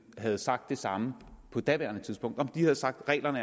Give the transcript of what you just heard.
har sagt det samme på daværende tidspunkt altså om de har sagt at reglerne